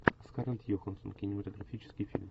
скарлетт йоханссон кинематографический фильм